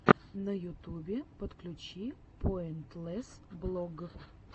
в ютубе подключи поинтлесс блог